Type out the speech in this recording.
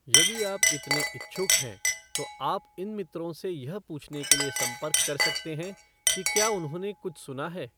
यदि आप इतने इच्छुक हैं, तो आप इन मित्रों से यह पूछने के लिए संपर्क कर सकते हैं कि क्या उन्होंने कुछ सुना है।